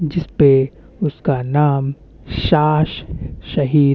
जिसपे उसका नाम साश शहीद --